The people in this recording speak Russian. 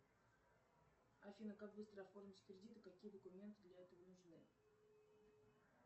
афина как быстро оформить кредит какие документы для этого нужны